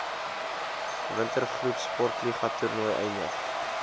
wintergroepsportliga toernooie eindig